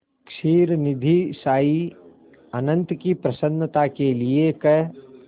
क्षीरनिधिशायी अनंत की प्रसन्नता के लिए क्